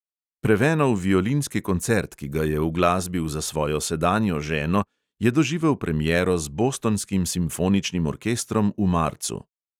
Prevenov violinski koncert, ki ga je uglasbil za svojo sedanjo ženo, je doživel premiero z bostonskim simfoničnim orkestrom v marcu.